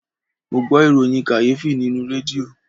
Mo gbọ ìròyìn kàyéfì nínú rédíò